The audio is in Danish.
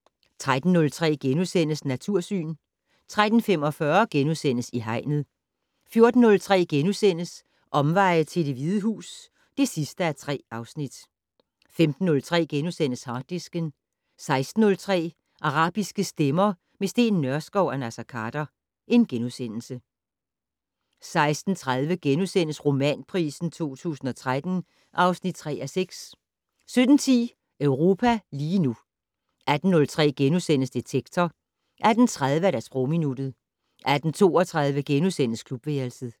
13:03: Natursyn * 13:45: I Hegnet * 14:03: Omveje til Det Hvide Hus (3:3)* 15:03: Harddisken * 16:03: Arabiske stemmer - med Steen Nørskov og Naser Khader * 16:30: Romanpris 2013 (3:6)* 17:10: Europa lige nu 18:03: Detektor * 18:30: Sprogminuttet 18:32: Klubværelset *